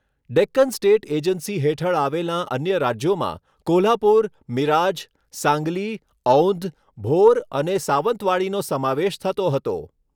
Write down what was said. Deccan state agency હેઠળ આવેલાં અન્ય રાજ્યોમાં કોલ્હાપુર, મિરાજ, સાંગલી, ઔંધ, ભોર અને સાવંતવાડીનો સમાવેશ થતો હતો.